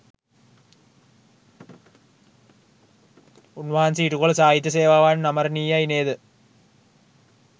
උන්වහන්සේ ඉටු කළ සාහිත්‍ය සේවාවත් අමරණීයයි නේද?